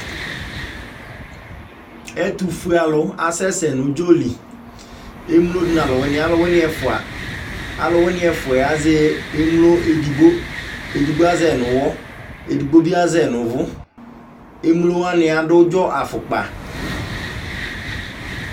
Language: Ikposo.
Ɛtʋfuealʋ asɛsɛ nʋ ʋdzɔ li Emlo nʋ alʋwɩnɩ, alʋwɩnɩ ɛfʋa, alʋwɩnɩ ɛfʋa yɛ azɛ emlo edigbo Edigbo azɛ nʋ ʋɣɔ, edigbo bɩ azɛ nʋ ʋvʋ Emlo wanɩ adʋ ʋdzɔ afʋkpa